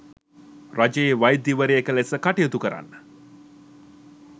රජයේ වෛද්‍යවරියක ලෙස කටයුතු කරන්න